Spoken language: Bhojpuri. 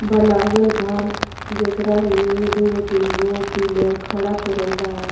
बनाबल वा जेकरा में दुगो तीन गो पिलर खड़ा करल वा।